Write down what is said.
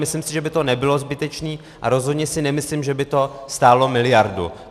Myslím si, že by to nebylo zbytečné, a rozhodně si nemyslím, že by to stálo miliardu.